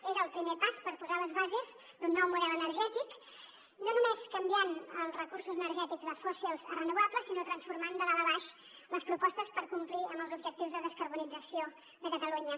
era el primer pas per posar les bases d’un nou model energètic no només canviant els recursos energètics de fòssils a renovables sinó transformant de dalt a baix les propostes per complir amb els objectius de descarbonització de catalunya